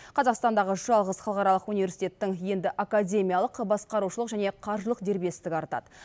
қазақстандағы жалғыз халықаралық университеттің енді академиялық басқарушылық және қаржылық дербестігі артады